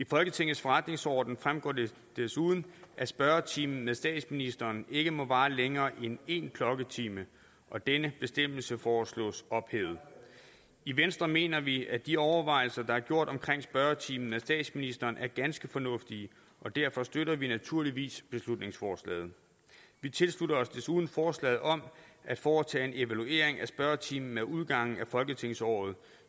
folketingets forretningsorden fremgår det desuden at spørgetimen med statsministeren ikke må vare længere end en klokketime og denne bestemmelse foreslås ophævet i venstre mener vi at de overvejelser der er gjort omkring spørgetimen med statsministeren er ganske fornuftige og derfor støtter vi naturligvis beslutningsforslaget vi tilslutter os desuden forslaget om at foretage en evaluering af spørgetimen ved udgangen af folketingsåret